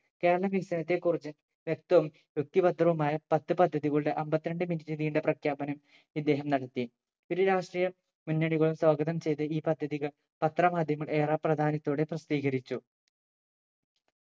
കേരള വികസനത്തെ കുറിച്ച് വ്യക്തവും വ്യക്തി ഭദ്രവുമായ പത്ത്‌ പദ്ധതികളുടെ അമ്പത്തിരണ്ട് minute നീണ്ട പ്രഖ്യാപനം ഇദ്ദേഹം നടത്തി ഇരു രാഷ്ട്രീയ മുന്നണികളും സ്വാഗതം ചെയ്ത ഈ പദ്ധതികൾ പത്ര മാധ്യമങ്ങൾ ഏറെ പ്രധാനത്തോടെ പ്രസിദ്ധീകരിച്ചു